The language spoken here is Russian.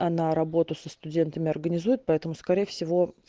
она работу со студентами организует поэтому скорее всего